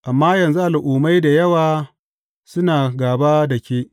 Amma yanzu al’ummai da yawa suna gāba da ke.